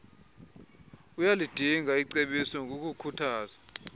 uyalidinga icebiso ngokukhuthaza